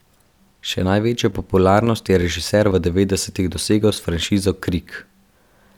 Še največjo popularnost je režiser v devetdesetih dosegel s franšizo Krik.